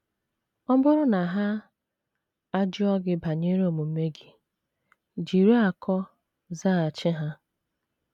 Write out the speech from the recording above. Ọ bụrụ na ha ajụọ gị banyere omume gị, jiri akọ zaghachi ha.